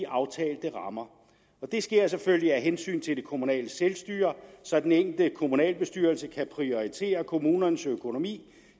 aftalte rammer og det sker selvfølgelig af hensyn til det kommunale selvstyre så den enkelte kommunalbestyrelse kan prioritere kommunens økonomi